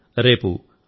మిత్రులారా